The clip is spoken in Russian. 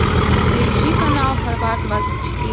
поищи канал хабар двадцать четыре